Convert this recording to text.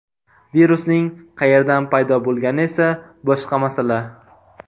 Virusning qayerdan paydo bo‘lgani esa boshqa masala.